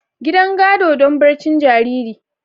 Gidan gado don barcin jariri.